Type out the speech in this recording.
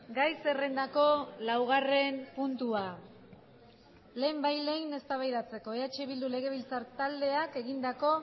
gai zerrendako laugarren puntua lehenbailehen eztabaidatzeko eh bildu legebiltzar taldeak egindako